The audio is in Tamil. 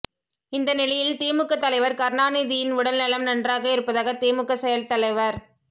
இந்த நிலையில் திமுக தலைவர் கருணாநிதியின் உடல் நலம் நன்றாக இருப்பதாக திமுக செயல்தலைவர்